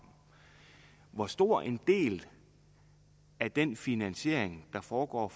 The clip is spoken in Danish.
hvor stor en del af den finansiering der foregår